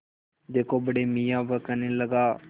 देखो बड़े मियाँ वह कहने लगा